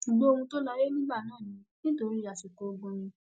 ṣùgbọn ohun tó láyé nígbà náà ni nítorí àsìkò ogun ni